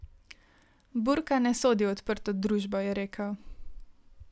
Burka ne sodi v odprto družbo, je rekel.